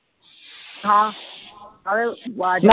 ਹਾਂ ਆੜੇ ਆਵਾਜ਼